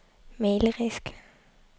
malerisk